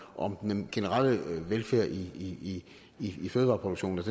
om at den generelle velfærd i i fødevareproduktionen